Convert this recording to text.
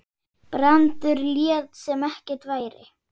Brandur lét sem ekkert væri.